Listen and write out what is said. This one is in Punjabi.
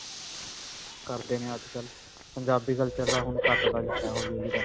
ਕਰਦੇ ਨੇ ਅੱਜ ਕਲ੍ਹ. ਪੰਜਾਬੀ culture ਦਾ ਹੁਣ ਘਟਦਾ ਜਾ ਰਿਹਾ ਹੌਲੀ-ਹੌਲੀ ਕਰਕੇ